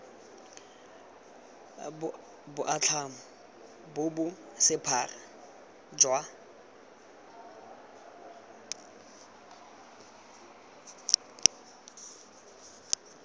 boatlhamo bo bo sephara jwa